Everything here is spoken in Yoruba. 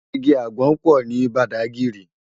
Igi ágbòn pò ni Bàdágìrí